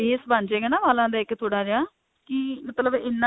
base ਬਣ ਜਾਇਗਾ ਨਾ ਵਾਲਾਂ ਦਾ ਇੱਕ ਥੋੜਾ ਜਿਹਾ ਕਿ ਮਤਲਬ ਇੰਨਾ